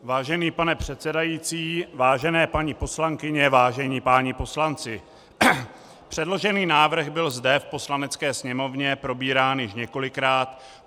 Vážený pane předsedající, vážené paní poslankyně, vážení páni poslanci, předložený návrh byl zde v Poslanecké sněmovně probírán již několikrát.